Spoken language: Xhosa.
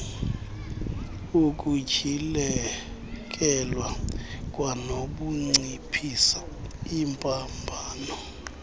ukutyhilekelwa kwanokunciphisa iimbambano